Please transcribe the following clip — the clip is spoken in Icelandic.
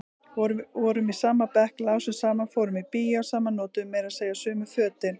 Vorum í sama bekk, lásum saman, fórum í bíó saman, notuðum meira segja sömu fötin.